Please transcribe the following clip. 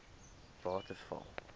waterval